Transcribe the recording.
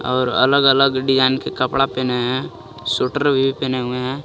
और अलग अलग डिजाइन के कपड़ा पहने हैं सुटर भी पहने हुए हैं.